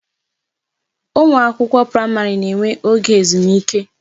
Ụmụ akwụkwọ praịmarị na enwe oge ezumike